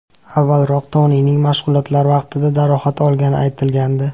Avvalroq Tonining mashg‘ulotlar vaqtida jarohat olgani aytilgandi.